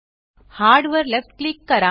hard वर left click करा